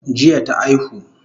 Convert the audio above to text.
Jiya ta aihu